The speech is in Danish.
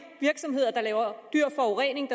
virksomheder der laver forurening